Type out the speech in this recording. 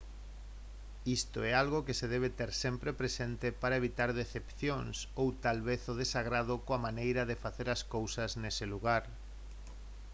isto é algo que se debe ter sempre presente para evitar decepcións ou tal vez o desagrado coa maneira de facer as cousas nese lugar